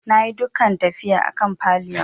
Na yi dukan tafiya a kan pillion.